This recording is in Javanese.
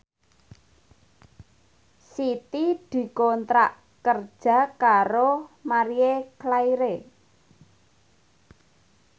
Siti dikontrak kerja karo Marie Claire